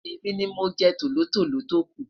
èmi ní mọ jẹ tòlótòló toku